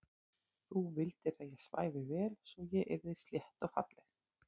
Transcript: Þú vildir að ég svæfi vel svo ég yrði slétt og falleg.